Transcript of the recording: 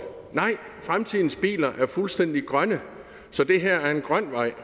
nej fremtidens biler er fuldstændig grønne så det her er en grøn vej